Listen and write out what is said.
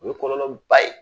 O ye kɔlɔlɔ ba ye.